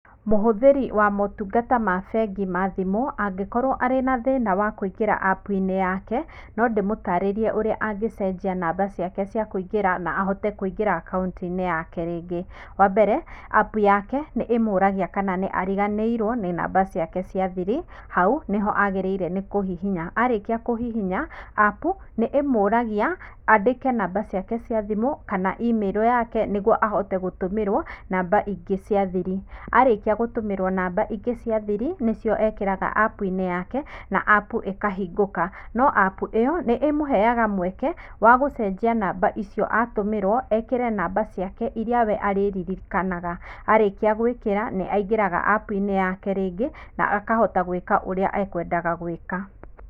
Mũhũthĩri wa motungata ma bengi ma thimũ, angĩkorwo arĩ na thĩna wa kũingĩra apu - inĩ yake, no ndĩmũtarĩrie ũrĩa angúĩcenjia namba ciake cia kũingĩra na ahote kũingĩra akaunti - inĩ yake rĩngĩ, wambere, apu yake nĩ ĩmũragia kana nĩ ariganĩirwo nĩ namba ciake cĩa thiri, hau nĩho agĩrire nĩkũhihinya, arĩkia kũhihinya apu nĩ ĩmũragia andĩke namba ciake cia thimũ, kana imĩrũ yake, nĩguo ahote gũtũmĩrwo namba ingĩ cia thiri, arĩkia gũtũmĩrwo namba ingĩ cia thiri, nĩcio ekĩraga apu - inĩ yake, na apu ikahingũka, no apu ĩyo nĩĩmũheyaga mweke wa gũcenjia namba icio atũmĩrwo, ekĩre namba ciĩke iria we arĩririkanaga, arĩkia gũĩkĩra nĩ angĩraga apu - inĩ yake rĩngĩ na kahota gwika ũria ekwendaga gwika.